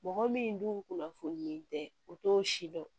Mɔgɔ min dun kunnafoni tɛ u t'o si dɔn